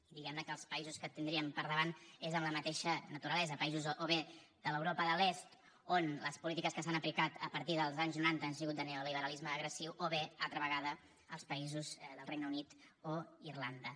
i diguem ne que els països que tindríem per davant són amb la mateixa naturalesa països o bé de l’europa de l’est on les polítiques que s’han aplicat a partir dels anys noranta han sigut de neoliberalisme agressiu o bé altra vegada els països del regne unit o irlanda